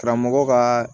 Karamɔgɔ ka